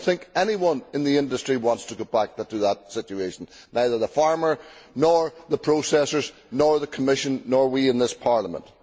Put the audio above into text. I do not think anybody in the industry wants to go back to that situation neither the farmer, nor the processors, nor the Commission nor we in this Parliament.